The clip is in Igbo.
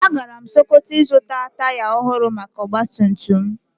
Agara m sokoto ịzụta taya ohụrụ maka ọgbatumtum m